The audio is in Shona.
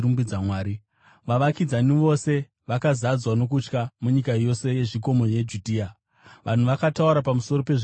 Vavakidzani vose vakazadzwa nokutya, nomunyika yose yezvikomo yeJudhea vanhu vakataura pamusoro pezvinhu izvi zvose.